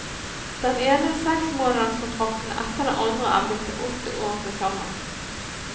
Den ene seksmånederskontrakten etter den andre er blitt til åtte år tilsammen.